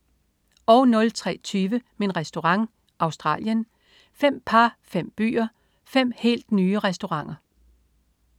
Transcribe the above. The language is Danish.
03.20 Min Restaurant. Australien. Fem par, fem byer, fem helt nye restauranter